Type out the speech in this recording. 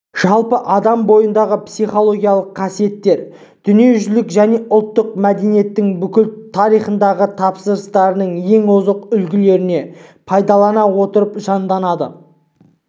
жалпы адам бойындағы психологиялық қасиеттер дүниежүзілік және ұлттық мәдениеттің бүкіл тарихындағы табыстарының ең озық үлгілерін пайдалана отырып жанданады